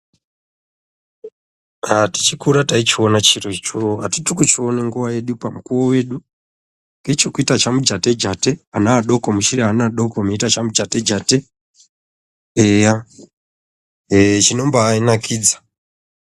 Aa tichikura taichiona chiro icho hatiti kuchiona nguva yedu pamukuvo vedu. Ngechokuita chamujate-jate ana adoko muchiri ana adoko muchiita chamujate-jate eya ee chinomba nakidza.